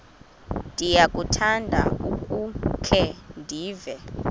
ndiyakuthanda ukukhe ndive